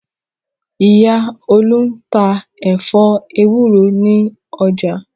Ìyá Olú tá ẹ̀fọ́ ewúro ní ọjà.